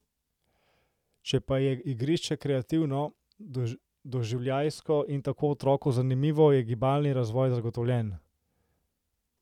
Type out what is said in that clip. Če pa je igrišče kreativno, doživljajsko in tako otroku zanimivo, je gibalni razvoj zagotovljen.